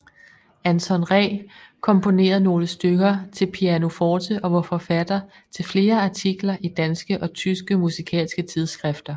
Anton Ree komponerede nogle stykker til pianoforte og var forfatter til flere artikler i danske og tyske musikalske tidsskrifter